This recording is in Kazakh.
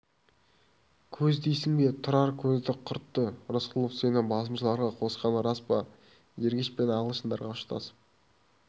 көз дейсің бе тұрар көзді құртты рысқұлов сені басмашыларға қосқаны рас па ергеш пен ағылшындарға ұштасып